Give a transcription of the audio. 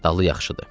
Dalı yaxşıdı.